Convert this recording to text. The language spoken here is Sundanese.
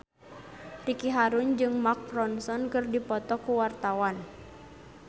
Ricky Harun jeung Mark Ronson keur dipoto ku wartawan